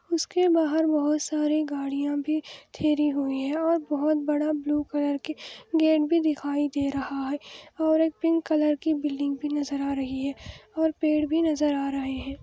उसके बाहर बहोत सारी गाड़िया भी ठेहरी हुई हे और बहोत बड़ा ब्लू कलर की गेट भी दिखाई दे रहा हे और एक पिंक कलर की बिल्डिंग भी नजर आ रही हे और पेड़ भी नजर आ रहा हे |